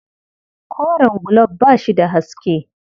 Koren gulob ba shi da haske.